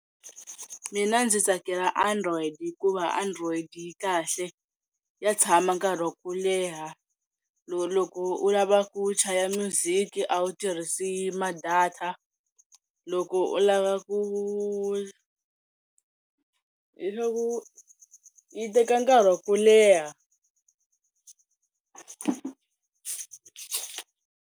Mina ndzi tsakela Android hikuva Android yi kahle ya tshama nkarhi wa ku leha loko u lava ku chaya minyuziki a wu tirhisi ma-data loko u lava ku hileswaku yi teka nkarhi wa ku leha.